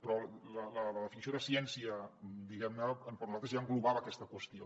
però la definició de ciència diguem ne per nosaltres ja englobava aquesta qüestió